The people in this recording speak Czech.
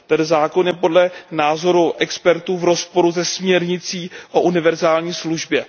Ten zákon je podle názoru expertů v rozporu se směrnicí o univerzální službě.